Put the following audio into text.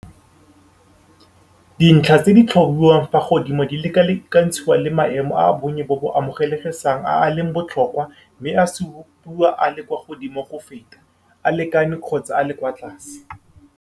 Dintlha tse di tlhatlhobiwang fa godimo di lekalekantshiwa le maemo a bonnye bo bo amogelesegang a a leng botlhokwa mme a supiwa a le kwa godimo go feta, a lekane kgotsa a le kwa tlase.